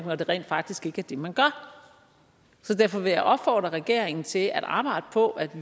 når det rent faktisk ikke er det man gør så derfor vil jeg opfordre regeringen til at arbejde på at